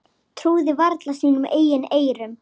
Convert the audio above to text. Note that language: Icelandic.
Trúði varla sínum eigin eyrum.